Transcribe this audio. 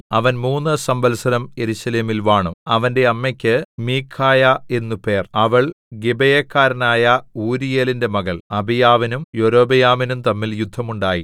അവൻ മൂന്നു സംവത്സരം യെരൂശലേമിൽ വാണു അവന്റെ അമ്മക്ക് മീഖായാ എന്നു പേർ അവൾ ഗിബെയക്കാരനായ ഊരീയേലിന്റെ മകൾ അബീയാവിനും യൊരോബെയാമിനും തമ്മിൽ യുദ്ധം ഉണ്ടായി